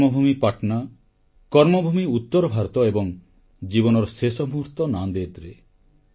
ଜନ୍ମଭୂମି ପାଟନା କର୍ମଭୂମି ଉତ୍ତର ଭାରତ ଏବଂ ଜୀବନର ଶେଷ ମୁହୂର୍ତ୍ତ ନାନ୍ଡ଼େଡ଼ରେ